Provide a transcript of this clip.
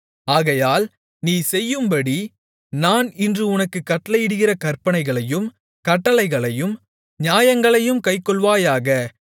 ஆகையால் நீ செய்யும்படி நான் இன்று உனக்குக் கட்டளையிடுகிற கற்பனைகளையும் கட்டளைகளையும் நியாயங்களையும் கைக்கொள்வாயாக